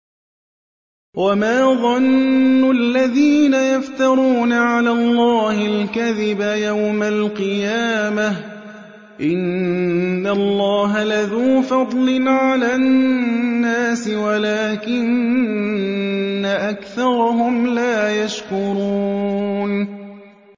وَمَا ظَنُّ الَّذِينَ يَفْتَرُونَ عَلَى اللَّهِ الْكَذِبَ يَوْمَ الْقِيَامَةِ ۗ إِنَّ اللَّهَ لَذُو فَضْلٍ عَلَى النَّاسِ وَلَٰكِنَّ أَكْثَرَهُمْ لَا يَشْكُرُونَ